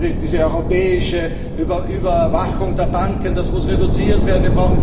und Diese europäische Überwachung der Banken muss reduziert werden.